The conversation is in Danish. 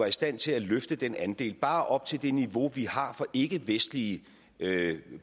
i stand til at løfte den andel bare op til det niveau vi har for ikkevestlige